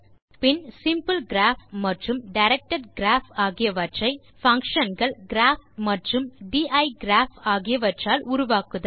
பின் simple graph மற்றும் directed graph ஆகியவற்றை function கள் கிராப் மற்றும் டைகிராப் ஆகியவற்றால் உருவாக்குதல்